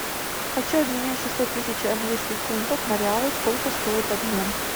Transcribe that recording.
хочу обменять шестьсот тысяч английских фунтов на реалы сколько стоит обмен